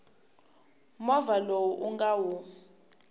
movha lowu u nga wu